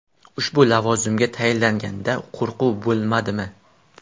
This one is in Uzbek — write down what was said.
Ushbu lavozimga tayinlanganda qo‘rquv bo‘lmadimi?